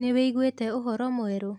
Nĩwiguĩte ũhoro mwerũ?